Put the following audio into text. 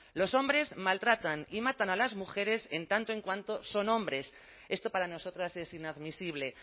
los hombres maltratan y matan a las mujeres en tanto en cuanto son hombres esto para nosotras es inadmisible